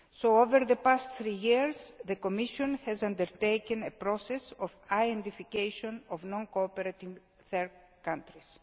Over the past three years, the Commission has undertaken a process of identifying non cooperating third countries.